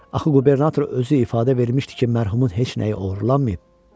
Axı qubernator özü ifadə vermişdi ki, mərhumun heç nəyi oğurlanmayıb.